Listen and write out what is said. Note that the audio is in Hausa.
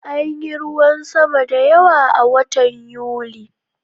Anyi ruwan sama da yawa a watan Yuli